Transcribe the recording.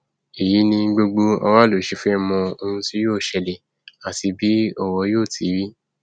èyí ni gbogbo aráàlú ṣe fẹẹ mọ ohun tí yóò ṣẹlẹ àti bí ọrọ yóò ti rí